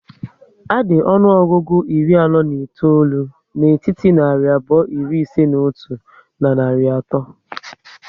A dị ọnụọgụgụ iri anọ na itoolu n'etiti narị abụọ iri ise n'otu na narị ato